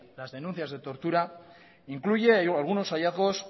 las denuncias de tortura incluyen algunos hallazgos